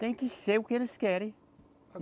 Tem que ser o que eles querem.